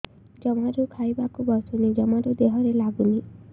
ଜମାରୁ ଖାଇବାକୁ ବସୁନି ଜମାରୁ ଦେହରେ ଲାଗୁନି